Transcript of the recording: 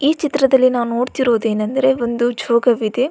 ಈ ಚಿತ್ರದಲ್ಲಿ ನಾವು ನೋಡ್ತಿರೋದು ಏನಂದ್ರೆ ಒಂದು ಜೋಗವಿದೆ.